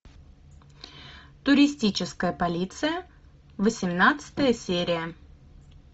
туристическая полиция восемнадцатая серия